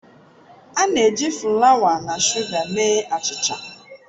A na-eji fulawa na shuga mee achicha.